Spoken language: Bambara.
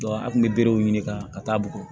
an kun bɛ berew ɲini ka taa bugun